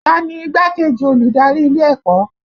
Ta ni igbákejì olùdarí ilé ẹ̀kọ́?